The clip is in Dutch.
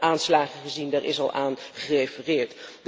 We hebben aanslagen gezien, daar is al aan gerefereerd.